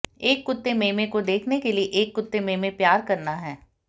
एक कुत्ते मेमे को देखने के लिए एक कुत्ते मेमे प्यार करना है